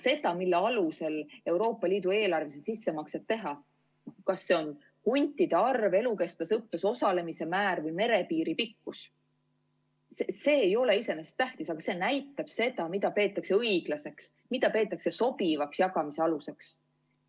See, mille alusel Euroopa Liidu eelarvesse sissemakseid teha – kas see on huntide arv, elukestvas õppes osalemise määr või merepiiri pikkus –, ei ole iseenesest tähtis, küll aga see näitab seda, mida peetakse õiglaseks, mida peetakse sobivaks jagamise aluseks.